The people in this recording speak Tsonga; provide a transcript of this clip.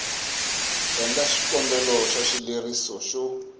endla xikombelo xa xileriso xo